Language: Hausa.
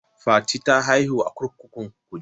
Fati ta haihu a kurkukun kuje.